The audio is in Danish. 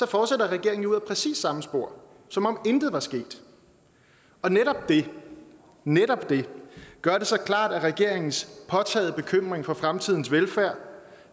regeringen ud ad præcis det samme spor som om intet var sket og netop det netop det gør det så klart at regeringens påtagede bekymring for fremtidens velfærd